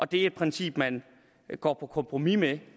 det er et princip man går på kompromis med